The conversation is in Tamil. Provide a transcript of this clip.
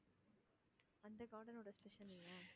அந்த garden ஓட special என்ன?